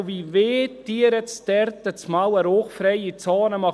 Und wie wollen Sie jetzt dort auf einmal eine rauchfreie Zone machen?